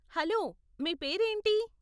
Hello, మీ పేరేంటి?